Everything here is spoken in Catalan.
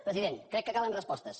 president crec que calen respostes